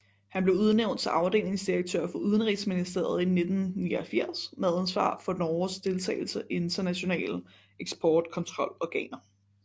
Han blev udnævnt til afdelingsdirektør for Udenrigsministeriet i 1989 med ansvar for Norges deltagelse i internationale eksportkontrolorganer